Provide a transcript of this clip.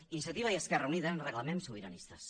iniciativa i esquerra unida ens reclamem sobiranistes